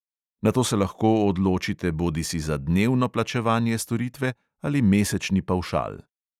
Nato se lahko odločite bodisi za dnevno plačevanje storitve ali mesečni pavšal.